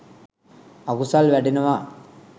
අකුසල් වැඩෙනවා